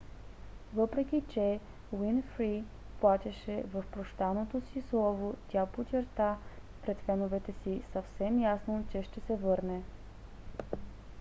въпреки че уинфри плачеше в прощалното си слово тя подчерта пред феновете си съвсем ясно че ще се върне